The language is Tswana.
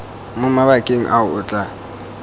mo mabakeng ao o tla